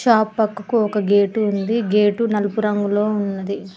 ఆపక్కకు ఒక గేటు ఉంది గేటు నలుపు రంగులో ఉన్నది.